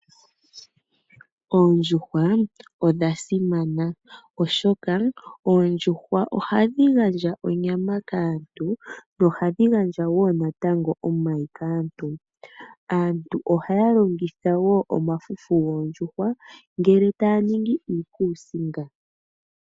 Oondjuhwa odha simana oshoka ohadhi gandja onyama kaantu . Ohadhi gandja woo natango omayi kaantu . Aantu ohaya longitha woo omafufu yoondjuhwa ngele taya ningi iikuusinga.